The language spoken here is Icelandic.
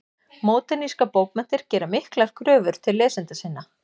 Módernískar bókmenntir gera miklar kröfur til lesenda sinna.